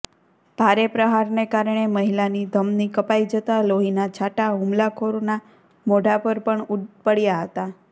ભારે પ્રહારને કારણે મહિલાની ધમની કપાઇ જતા લોહીના છાંટા હુમલાખોરના મોઢા પર પણ પડ્યા હતા